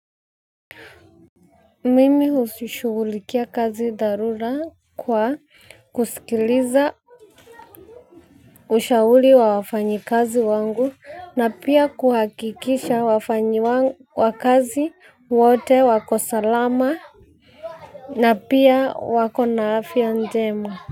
Mimi husishugulikia kazi dharula kwa kusikiliza ushauli wa wafanyi kazi wangu na pia kuhakikisha wafanyi wa kazi wote wako salama na pia wako naafya njema.